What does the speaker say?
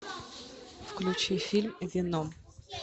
включи фильм веном